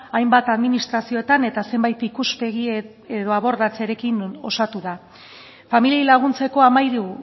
hainbat administrazioetan eta zenbait ikuspegi abordatzearekin osatu da familiei laguntzeko hamairu